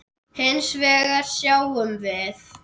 Hins vegar sjáum við